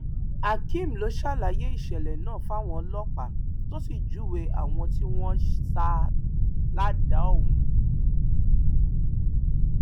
akeem ló ṣàlàyé ìṣẹlẹ náà fáwọn ọlọpàá tó sì júwe àwọn tí wọn sá a ládàá ọhún